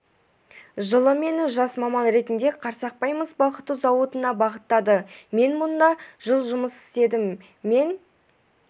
жылы мені жас маман ретінде қарсақпай мыс балқыту зауытына бағыттады мен мұнда жыл жұмыс істедім мен